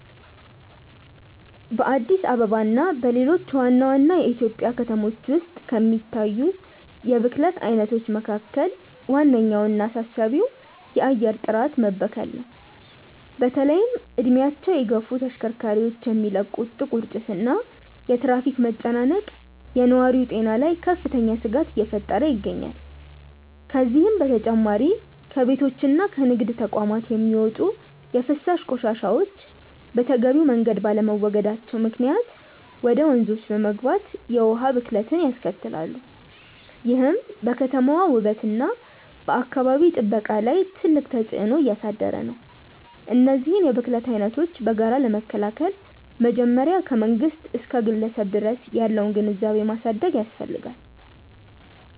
በአዲስ አበባ እና በሌሎች ዋና ዋና የኢትዮጵያ ከተሞች ውስጥ ከሚታዩት የብክለት አይነቶች መካከል ዋነኛውና አሳሳቢው የአየር ጥራት መበከል ነው። በተለይም እድሜያቸው የገፉ ተሽከርካሪዎች የሚለቁት ጥቁር ጭስ እና የትራፊክ መጨናነቅ በነዋሪው ጤና ላይ ከፍተኛ ስጋት እየፈጠረ ይገኛል። ከዚህም በተጨማሪ ከቤቶችና ከንግድ ተቋማት የሚወጡ የፍሳሽ ቆሻሻዎች በተገቢው መንገድ ባለመወገዳቸው ምክንያት ወደ ወንዞች በመግባት የውሃ ብክለትን ያስከትላሉ፤ ይህም በከተማዋ ውበትና በአካባቢ ጥበቃ ላይ ትልቅ ተጽዕኖ እያሳደረ ነው። እነዚህን የብክለት አይነቶች በጋራ ለመከላከል መጀመሪያ ከመንግስት እስከ ግለሰብ ድረስ ያለውን ግንዛቤ ማሳደግ ያስፈልጋል።